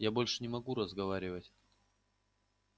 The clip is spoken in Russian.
я больше не могу разговаривать